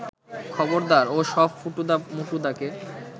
খবরদার ও সব ফুটুদা মুটুদাকে